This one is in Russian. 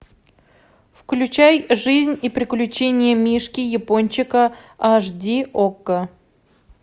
включай жизнь и приключения мишки япончика аш ди окко